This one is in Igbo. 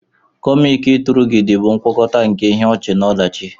Komiki-turagidi bụ ngwakọta nke ihe ọchị na ọdachi.